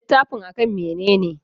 Littafin a kan mene ne?